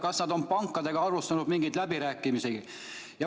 Kas nad on pankadega alustanud mingeid läbirääkimisi?